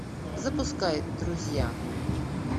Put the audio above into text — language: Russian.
запускай друзья